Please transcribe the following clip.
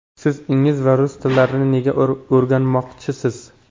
Siz ingliz va rus tillarini nega o‘rganmoqchisiz?